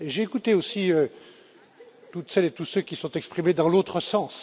J'ai écouté aussi toutes celles et tous ceux qui se sont exprimés dans l'autre sens.